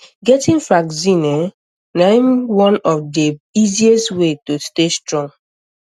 getting vaccine ehm um na um one of the um easiest way to stay strong